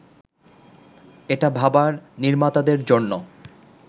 এটা ভাবা নির্মাতাদের জন্য